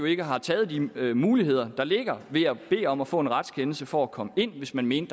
ikke har taget de muligheder der ligger ved at bede om at få en retskendelse for at komme ind hvis man mente